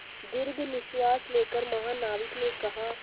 दीर्घ निश्वास लेकर महानाविक ने कहा